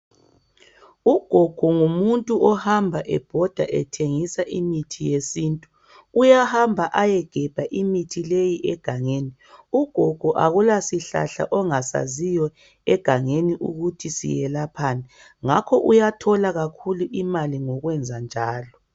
Ugogo ngumuntu ohamba ebhoda ethengisa imithi yesintu. Uyahamba ayegebha imithi leyi egangeni. Ugogo akula sihlahla angasaziyo egangeni ukuthi siyelaphani ngakho uyathola kakhulu imali ngokwenza njalo.